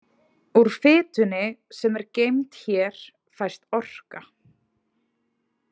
Úr fitunni sem er geymd hér fæst orka.